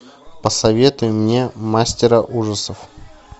посоветуй мне мастера ужасов